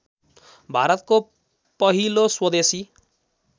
भारतको पहिलो स्वदेशी